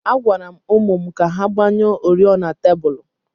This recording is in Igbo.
Agwara m ụmụ m ka ha gbanyụọ oriọna tebụl.